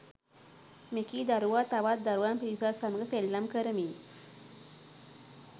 මෙකී දරුවා තවත් දරුවන් පිරිසක් සමඟ සෙල්ලම් කරමින්